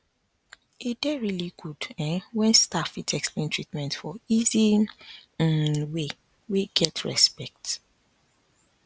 e dey really good um when staff fit explain treatment for easy um way wey get respect